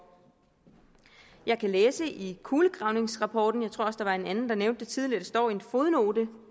jeg kan læse i kulegravningsrapporten jeg tror også at der var en anden der nævnte det tidligere det står i en fodnote